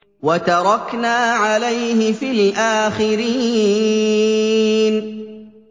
وَتَرَكْنَا عَلَيْهِ فِي الْآخِرِينَ